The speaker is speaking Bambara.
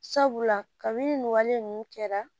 Sabula kabi nin wale ninnu kɛra